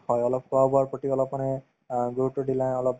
হয়, অলপ খোৱা-বোৱাৰ প্ৰতি অলপ মানে অ গুৰুত্ৱ দিলাই অলপ